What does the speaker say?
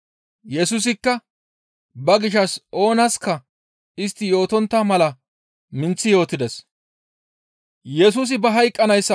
Yesusikka ba gishshas oonaska istti yootontta mala minththi yootides.